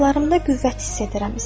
Qanadlarımda qüvvət hiss edirəm.